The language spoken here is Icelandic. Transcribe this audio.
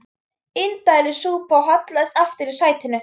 Indælis súpa og hallaðist aftur í sætinu.